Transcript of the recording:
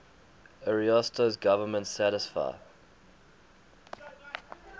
ariosto's government satisfied